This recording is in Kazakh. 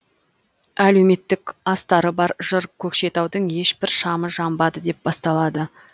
әлеуметтік астары бар жыр көкшетаудың ешбір шамы жамбады деп басталады